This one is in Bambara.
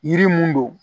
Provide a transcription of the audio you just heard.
Yiri mun don